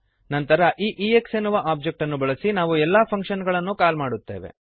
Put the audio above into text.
ನಂತರ ಈ ಎಕ್ಸ್ ಎನ್ನುವ ಒಬ್ಜೆಕ್ಟ್ ಅನ್ನು ಬಳಸಿ ನಾವು ಎಲ್ಲ ಫಂಕ್ಶನ್ ಗಳನ್ನು ಕಾಲ್ ಮಾಡುತ್ತೇವೆ